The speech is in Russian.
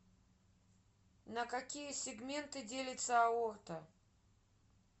на какие сегменты делится аорта